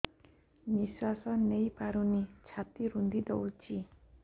ନିଶ୍ୱାସ ନେଇପାରୁନି ଛାତି ରୁନ୍ଧି ଦଉଛି